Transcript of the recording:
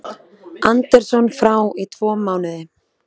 Anderson frá í tvo mánuði